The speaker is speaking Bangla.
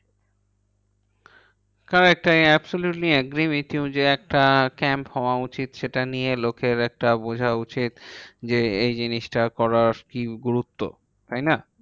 Correct I absolutely agree with you যে একটা camp হওয়া উচিত। সেটা নিয়ে লোকের একটা বোঝা উচিত। যে এই জিনিসটা করার কি গুরুত্ব, তাইনা?